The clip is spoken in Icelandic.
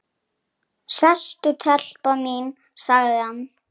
Sestu telpa mín, sagði hann.